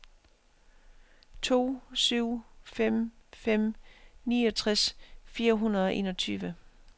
to syv fem fem niogtres fire hundrede og enogtyve